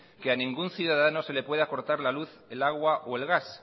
que a ningún ciudadano se le pueda cortar la luz el agua o el gas